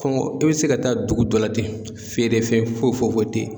Kɔngɔ e bɛ se ka taa dugu dɔ la ten feere fɛn foyi foyi tɛ yen.